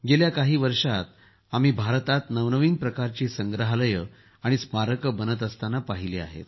गेल्या काही वर्षात आम्ही भारतात नवनवीन प्रकारचे संग्रहालये आणि स्मारकं बनत असताना पाहिले आहेत